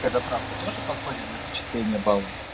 эта правка тоже подходит для зачисления баллов